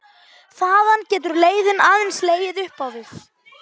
Þaðan getur leiðin aðeins legið upp á við.